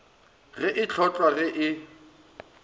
ge e hlotlwa ge e